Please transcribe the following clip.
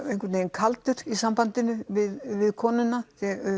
kaldur í sambandinu við konuna